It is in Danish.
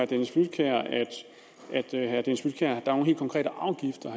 dennis flydtkjær at der er nogle helt konkrete afgifter